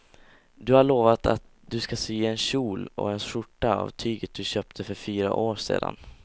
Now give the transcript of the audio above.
Du har lovat henne att du ska sy en kjol och skjorta av tyget du köpte för fyra år sedan.